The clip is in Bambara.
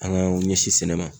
An k'anw ɲɛsin sɛnɛ ma.